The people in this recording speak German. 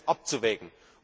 Das gilt es abzuwägen.